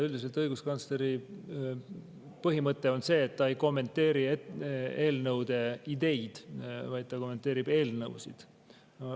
Üldiselt õiguskantsleri põhimõte on, et ta ei kommenteeri eelnõude ideid, vaid ta kommenteerib eelnõusid.